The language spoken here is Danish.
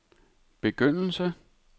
begyndelse